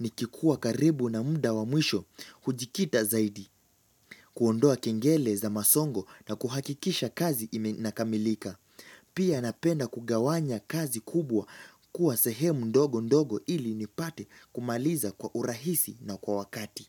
Nikikuwa karibu na muda wa mwisho, hujikita zaidi, kuondoa kengele za masongo na kuhakikisha kazi inakamilika. Pia napenda kugawanya kazi kubwa kuwa sehemu ndogo ndogo ili nipate kumaliza kwa urahisi na kwa wakati.